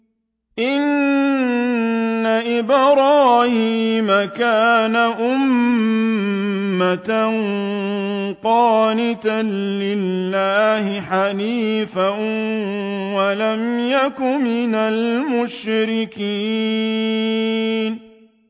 إِنَّ إِبْرَاهِيمَ كَانَ أُمَّةً قَانِتًا لِّلَّهِ حَنِيفًا وَلَمْ يَكُ مِنَ الْمُشْرِكِينَ